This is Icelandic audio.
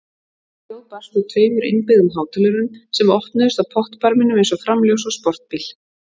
Hljóð barst úr tveimur innbyggðum hátölurum sem opnuðust á pottbarminum eins og framljós á sportbíl.